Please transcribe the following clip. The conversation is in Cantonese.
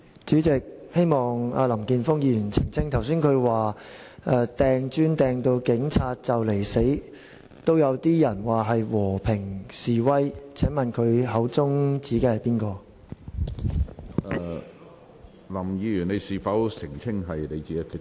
主席，希望林健鋒議員澄清，他剛才說拋擲磚頭致使警察幾乎喪命也有人說是和平示威，請問他口中所指的是誰？